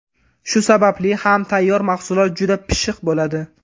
Shu sababli ham tayyor mahsulot juda pishiq bo‘ladi.